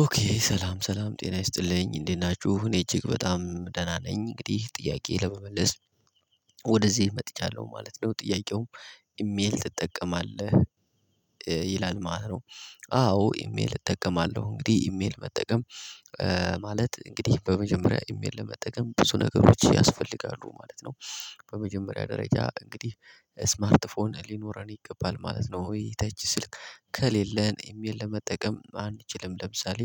ኦኬ ሰላም፣ ሰላም ጤና ይስጥልኝ እንዴት ናችሁ? እኔ እጅግ በጣም ደህና ነኝ። እንግዲህ ጥያቄ ለመመለስ ወደዚህ መጥቻለሁ ማለት ነው። ጥያቄውም ኢሜል ትጠቀማለህ? ይላል ማለት ነው። አዎ ኢሜል እጠቀማለሁ። እንግዲህ ኢሜል መጠቀም ማለት እንግዲህ በመጀመሪያ ኢሜል ለመጠቀም ብዙ ነገሮች ያስፈልጋሉ ማለት ነው። በመጀመሪያ ደረጃ እንግዲህ ስማርት ፎን ሊኖረን ይገባል ማለት ነው። ወይ ተች ስልክ ከሌለን ኢሜል ለመጠቀም አንችልም። ለምሳሌ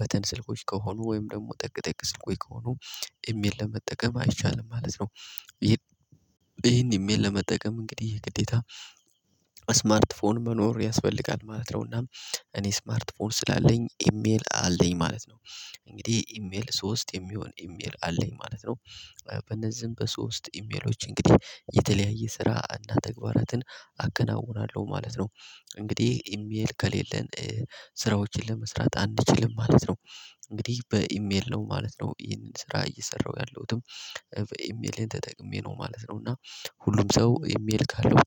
በተን ስልኮች ከሆኑ ወይም ደግሞ ጠቅ ጠቅ ስልኮዬ ከሆኑ ኢሜል ለመጠቀም አይቻልም ማለት ነው። ይሄን ኢሜል ለመጠቀም እንግዲህ የግዴታ ስማርት ፎን መኖር ያስፈልጋል ማለት ነው። እናም እኔ ስማርት ፎን ስላለኝ ኢሜል አለኝ ማለት ነው። እንግዲህ ኢሜል፤ ሶስት የሚሆን ኢሜል አለኝ ማለት ነው። በነዚህም በሶስት ኢሜሎች እንግዲህ የተለያየ ስራ እና ተግባራትን አከናውናለሁ ማለት ነው። እንግዲህ ኢሜል ከሌለን ስራዎችን ለመስራት አንችልም ማለት ነው። እንግዲህ በኢሜል ነው ማለት ነው ይህንን ስራ እየሰራሁ ያለሁትም በኢሜልህ ተጠቅሜ ነው ማለት ነው። እና ሁሉም ሰው ኢሜል ካለው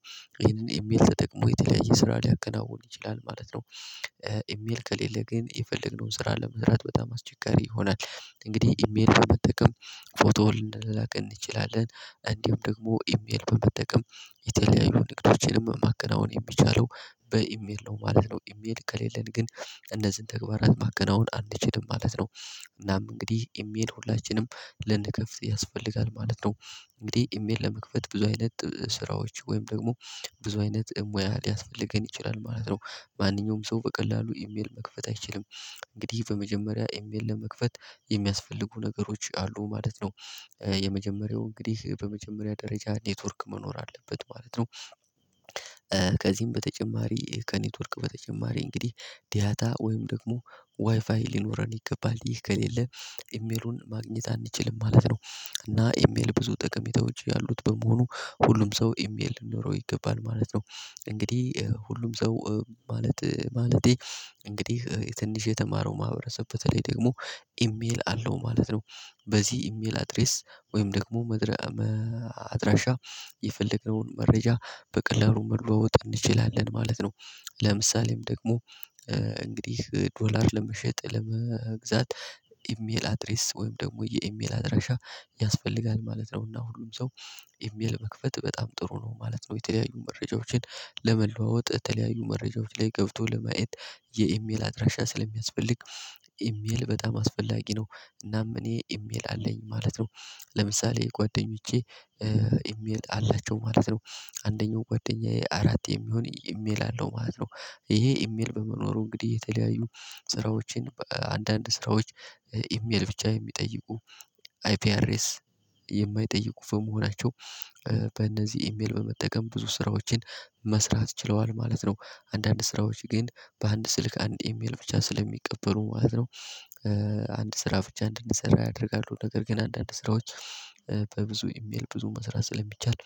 ይሄንን ኢሜል ተጠቅሞ የተለያየ ስራ ሊያቀናውል ይችላል ማለት ነው። ኢሜል ከሌለ ግን የፈለግነውን ስራ ለመስራት በጣም አስቸጋሪ ይሆናል። እንግዲህ ኢሜል ለመጠቀም ፎቶ ልንላላክ እንችላለን፤ እንዲሁም ደግሞ ኢሜል በመጠቀም የተለያዩ ንግዶችንም ማከናወን የሚቻለው በኢሜል ነው ማለት ነው። ኢሜል ከሌለን ግን እነዚህን ተግባራት ማከናወን አንችልም ማለት ነው። እናም እንግዲህ ኢሜል ሁላችንም ልንከፍት ያስፈልጋል ማለት ነው። እንግዲህ ኢሜል ለመክፈት ብዙ አይነት ስራዎች ወይም ደግሞ ብዙ አይነት ሙያ ሊያስፈልገን ይችላል ማለት ነው። ማንኛውም ሰው በቀላሉ ኢሜል መክፈት አይችልም። እንግዲህ በመጀመሪያ ኢሜል ለመክፈት የሚያስፈልጉ ነገሮች አሉ ማለት ነው። የመጀመሪያው እንግዲህ በመጀመሪያ ደረጃ ኔትወርክ መኖር አለበት ማለት ነው። ከዚህም በተጨማሪ፣ ከኔትወርክ በተጨማሪ እንግዲህ ዳታ ወይም ደግሞ ዋይፋይ ሊኖረን ይገባል። ይህ ከሌለ ኢሜሉን ማግኘት አንችልም ማለት ነው። እና ኢሜል ብዙ ጠቀሜታዎች ያሉት በመሆኑ ሁሉም ሰው ኢሜል ሊኖረው ይገባል ማለት ነው። እንግዲህ ሁሉም ሰው ማለት፤ ማለቴ፤ እንግዲህ ትንሽ የተማረው ማህበረሰብ በተለይ ደግሞ ኢሜል አለው ማለት ነው። በዚህ ኢሜል አድሬስ ወይም ደግሞ መድረ አድራሻ የፈለግነውን መረጃ በቀለሉ መለዋወጥ እንችላለን ማለት ነው። ለምሳሌም ደግሞ እንግዲህ ዶላር ለመሸጥ፣ ለመግዛት ኢሜል አድሬስ፤ ወይም ደግሞ የኢሜል አድሬሻ ያስፈልጋል ማለት ነው። እና ሁሉም ሰው ኢሜል መክፈት በጣም ጥሩ ነው ማለት ነው። የተለያዩ መረጃዎችን ለመለዋወጥ፣ የተለያዩ መረጃዎች ላይ ገብቶ ለማየት የኢሜል አድራሻ ስለሚያስፈልግ ኢሜል በጣም አስፈላጊ ነው። እናም እኔ ኢሜል አለኝ ማለት ነው። ለምሳሌ ጓደኞቼ ኢሜል አላቸው ማለት ነው። አንደኛው ጓደኛዬ አራት የሚሆን ኢሜል አለው ማለት ነው። ይሄ ኢሜል በመኖሩ እንግዲህ የተለያዩ ስራዎችን አንዳንድ ስራዎች፣ ኢሜል ብቻ የሚጠይቁ አይፒ አድሬስ የማይጠይቁ በመሆናቸው በእነዚህ ኢሜል በመጠቀም ብዙ ስራዎችን መስራት ችለዋል ማለት ነው። አንዳንድ ስራዎች ግን በአንድ ስልክ አንድ የሚል ብቻ ስለሚቀበሩ ማለት ነው፤ አንድ ስራ ብቻ እንድንሰራ ያደርጋሉ። ነገር ግን አንዳንድ ስራዎች በብዙ ኢሜል ብዙ መስራት ስለሚቻል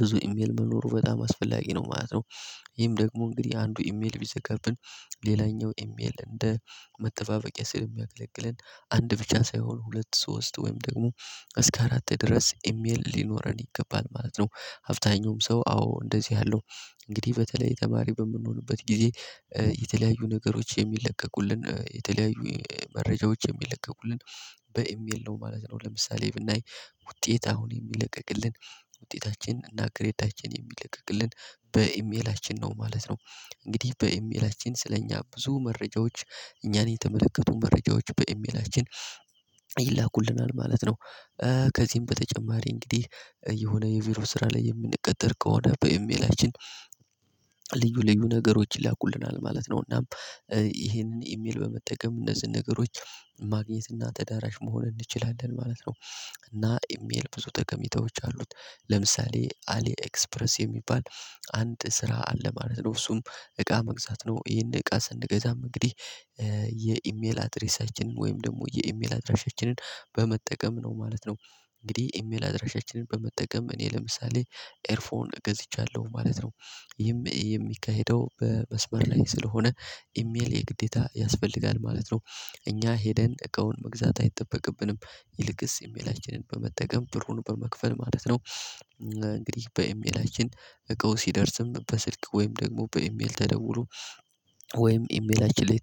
ብዙ ኢሜል መኖሩ በጣም አስፈላጊ ነው ማለት ነው። ይሄም ደግሞ እንግዲህ አንዱ ኢሜል ቢዘጋብን ሌላኛው ኢሜል እንደ መጠባበቂያ ስለሚያገለግለን፤ አንድ ብቻ ሳይሆን ሁለት፣ ሶስት ወይም ደግሞ እስከ አራት ድረስ ኢሜል ሊኖረን ይገባል ማለት ነው። አብዛኛውም ሰው አዎ እንደዚህ አለው። እንግዲህ በተለይ ተማሪ በምንሆንበት ጊዜ የተለያዩ ነገሮች የሚለቀቁልን፤ የተለያዩ መረጃዎች የሚለቀቁልን፤ በኢሜል ነው ማለት ነው። ለምሳሌ ብናይ ውጤት አሁን የሚለቀቅልን፣ ውጤታችን እና ግሬዳችን የሚለቀቅልን በኢሜላችን ነው ማለት ነው። እንግዲህ በኢሜላችን ስለእኛ ብዙ መረጃዎች፣ እኛን የተመለከቱ መረጃዎች በኢሜላችን ይላኩልናል ማለት ነው። ከዚህም በተጨማሪ እንግዲህ የሆነ የቢሮ ስራ ላይ የምንቀጠር ከሆነ በኢሜላችን ልዩ ልዩ ነገሮች ይላኩልናል ማለት ነው። እናም ይሄንን ኢሜል በመጠቀም እነዚህን ነገሮች ማግኘት እና ተዳራሽ መሆን እንችላለን ማለት ነው። እና ኢሜል ብዙ ጠቀሚታዎች አሉት። ለምሳሌ አሊ ኤክስፕረስ የሚባል አንድ ስራ አለ ማለት ነው፤ እሱም እቃ መግዛት ነው። ይሄን እቃ ስንገዛ እንግዲህ የኢሜል አድሬሳችንን ወይም ደግሞ የኤሜል አድራሻችንን በመጠቀም ነው ማለት ነው። እንግዲህ ኤሜል አድራሻችንን በመጠቀም እኔ ለምሳሌ ኤርፎን ገዝቻለሁ ማለት ነው። ይህም የሚካሄደው በመስበር ላይ ስለሆነ ኢሜል የግዴታ ያስፈልጋል ማለት ነው። እኛ ሄደን እቃውን መግዛት አይጠበቅብንም። ይልቅስ የኢሜላችንን በመጠቀም፤ ብሩን በመክፈል ማለት ነው ነው። እንግዲህ በኢሜላችን እቀው ሲደርስም በስልክ ወይም ደግሞ በኢሜል ተደውሎ፤ ወይም ኢሜላችን ላይ